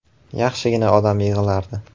Yaxshigina odam yig‘ilardi.